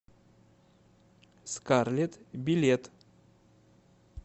скарлетт билет